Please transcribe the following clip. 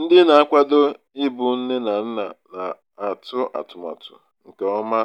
ndị na-akwado ịbụ nne na nna na-atụ atụmatụ nke ọma